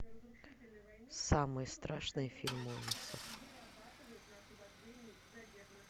самый страшный фильм ужасов